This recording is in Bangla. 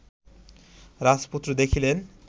রাজপুত্র দেখিলেন